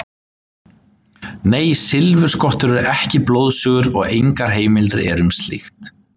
Nei, silfurskottur eru ekki blóðsugur og engar heimildir eru um slíkt.